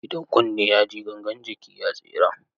Idan kunne ya ji, gangan jiki ya tsira.